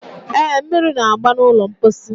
e, mmiri na-agba n'ụlọ mkposi.